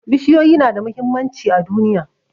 Bishiyoyi na da muhimmanci a duniya